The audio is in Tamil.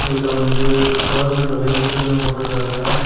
இதுல வந்து கவர்மெண்ட் வெகிக்கள்னு போட்டுருக்காங்க.